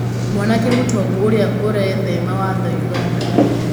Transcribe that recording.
Mwanake mũtongu ũrĩa ũrethema watho ũganda.